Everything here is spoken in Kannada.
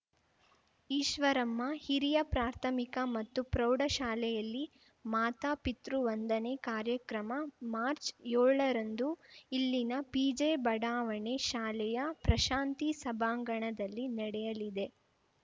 ಈಶ್ವರಮ್ಮ ಹಿರಿಯ ಪ್ರಾಥಮಿಕ ಮತ್ತು ಪ್ರೌಢಶಾಲೆಯಲ್ಲಿ ಮಾತಾ ಪಿತೃವಂದನೆ ಕಾರ್ಯಕ್ರಮ ಮಾರ್ಚ್ಯೋಳರಂದು ಇಲ್ಲಿನ ಪಿಜೆ ಬಡಾವಣೆ ಶಾಲೆಯ ಪ್ರಶಾಂತಿ ಸಭಾಂಗಣದಲ್ಲಿ ನಡೆಯಲಿದೆ